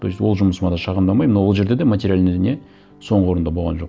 то есть ол жұмысыма да шағымданбаймын но ол жерде де материальный не соңғы орында болған жоқ